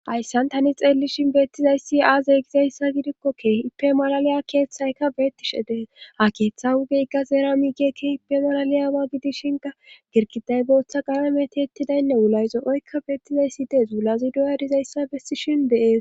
Ayssan tani xeellishin beettizayssi aazey gizayssa gidikko keehipe malaliya keeththayka beettishe dees ha keeththa wugeyka zeera miigekkehipe malaliyawa gidishinka girkiday booththa qalameti ettidaynne wulayzo oykka beettizayssi dees zuulazi duyarizayssa bessishin beees